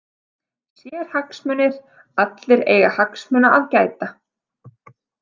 Sérhagsmunir Allir eiga hagsmuna að gæta.